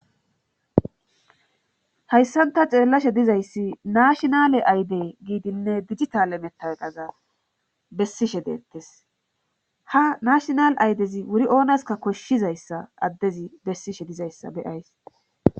hayssanta xeellashe dizayssi nashinale ayde giidinne digitale metaweqqaza bessishe deettes ha nashinal aydezi wuri oonaska koshshizayssa addezi bessishe dizayssa beyays